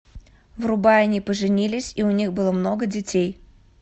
врубай они поженились и у них было много детей